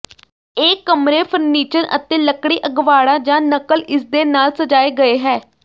ਇਹ ਕਮਰੇ ਫਰਨੀਚਰ ਅਤੇ ਲੱਕੜੀ ਅਗਵਾੜਾ ਜ ਨਕਲ ਇਸਦੇ ਨਾਲ ਸਜਾਏ ਗਏ ਹੈ